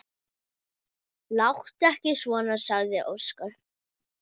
Láttu ekki svona, sagði Óskar.